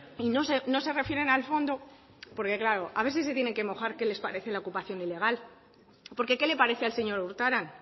y no se refieren al fondo porque claro a ver si se tienen que mojar qué les parece la ocupación ilegal porque qué le parece al señor urtaran